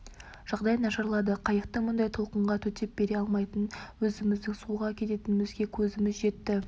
жағдай нашарлады қайықтың мұндай толқынға төтеп бере алмайтынына өзіміздің суға кететінімізге көзіміз жетті